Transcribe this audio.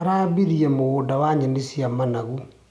Arambirie mũgũnda wa nyeni cia mathangũ.